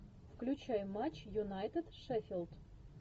включай матч юнайтед шеффилд